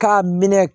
K'a minɛ